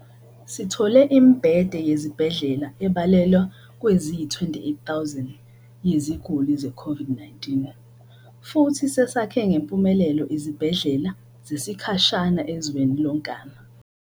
Sithole imibhede yezibhedlela ebalelwa kweziyi-28,000 yeziguli ze-COVID-19 futhi sesakhe ngempumelelo izibhedlela zesikhashana ezweni lonkana.